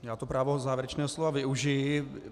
Já to právo závěrečného slova využiji.